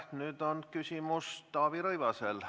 Nüüd on küsimus Taavi Rõivasel.